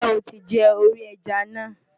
Ǹjẹ́ o ti jẹ orí ẹja náà?